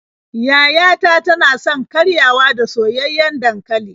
Yaya ta tana son karyawa da soyayyen dankali.